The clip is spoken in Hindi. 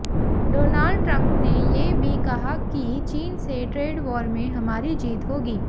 डोनाल्ड ट्रम्प ने ये भी कहा कि चीन से ट्रेड वॉर में हमारी जीत होगी